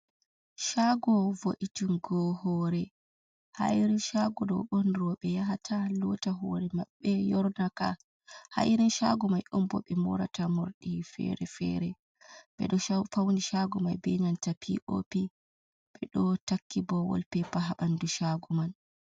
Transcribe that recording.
Caago vo’itungo hoore, ha irin caago ɗo'on roɓe yahata lota hore maɓɓe, yorna ka, ha irin caago mai ɗo'on roɓe moorata morɗi feere-feere, ɓeɗo fauni caago mai be nanta pi oh pi, ɓeɗo takki boh wol pepa ha ɓanndu caago man.